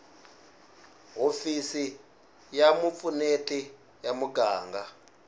hofisi ya vupfuneti ya muganga